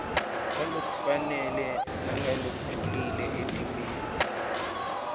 ngalokufanele nangalokujulile etimeni